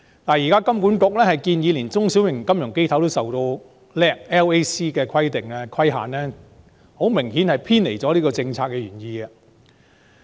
現時香港金融管理局建議連中小型金融機構也受香港處置制度下吸收虧損能力規則的規限，這明顯是偏離了政策原意。